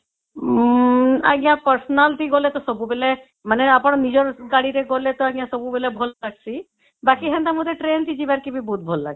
ଉମ ଆଂଜ୍ଞା personal ଥି ଗଲେ ଟା ସବୁ ବେଳେ ମାନେ ଆପଣ ନିଜର ଗାଡି ରେ ଗଲେ ଆଂଜ୍ଞା ସବୁ ବେଳେ ଭଲ ଲାଗିଁସି ବାକି ହେନ୍ତା ମତେ ଟ୍ରେନ ରେ ଯିବା ଲାଗି ବି ବହୁତ ଭଲ ଲାଗିଁସି